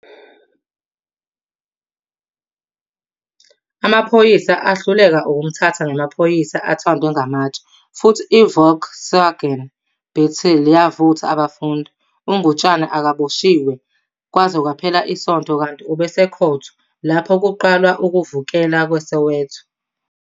Amaphoyisa ahluleka ukumthatha namaphoyisa athandwe ngamatshe futhi iVolkswagen Beetle yavutha abafundi. U-Ngutshane akaboshiwe kwaze kwaphela isonto kanti ube esekhotho lapho kuqalwa ukuvukela kweSoweto.